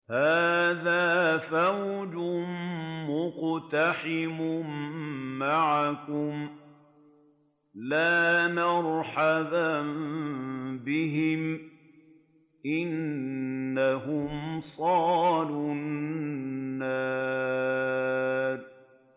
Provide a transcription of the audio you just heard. هَٰذَا فَوْجٌ مُّقْتَحِمٌ مَّعَكُمْ ۖ لَا مَرْحَبًا بِهِمْ ۚ إِنَّهُمْ صَالُو النَّارِ